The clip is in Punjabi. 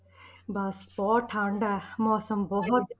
ਬਸ ਬਹੁਤ ਠੰਢ ਹੈ ਮੌਸਮ ਬਹੁਤ